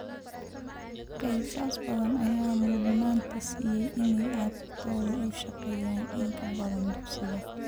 Qoysas badan ayaa mudnaanta siiya in ay carruurtooda u shaqeeyaan in ka badan dugsiga.